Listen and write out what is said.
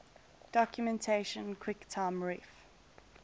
documentation quicktime ref